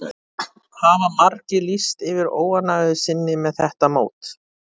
Hafa margir lýst yfir óánægju sinni með þetta mót?